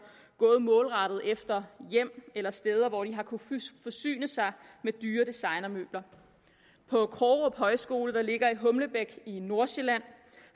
gået målrettet efter hjem eller steder hvor de har kunnet forsyne sig med dyre designermøbler på krogerup højskole der ligger i humlebæk i nordsjælland